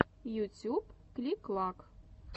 ютюб клик клак